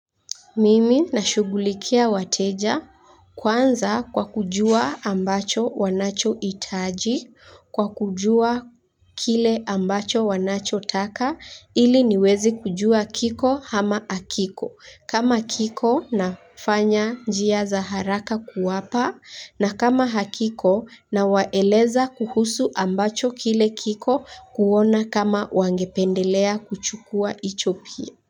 Mimi nashughulikia wateja kwanza kwa kujua ambacho wanachohitaji kwa kujua kile ambacho wanachotaka ili niweze kujua kiko hama hakiko kama kiko nafanya njia za haraka kuwapa na kama hakiko nawaeleza kuhusu ambacho kile kiko kuona kama wangependelea kuchukua hicho pia.